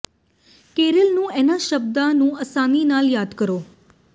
carol ਨੂੰ ਇਨ੍ਹਾਂ ਸ਼ਬਦਾਂ ਨੂੰ ਆਸਾਨੀ ਨਾਲ ਯਾਦ ਕਰੋ